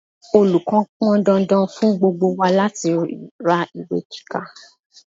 Olùkọ́ pọn dandan fún gbogbo wa láti ra ìwé kíkà.